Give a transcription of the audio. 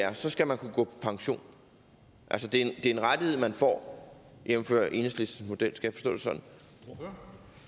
er så skal man kunne gå på pension altså det er en rettighed man får jævnfør enhedslistens model skal